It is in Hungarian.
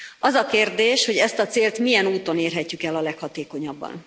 Az a kérdés, hogy ezt a célt milyen úton érhetjük el a leghatékonyabban.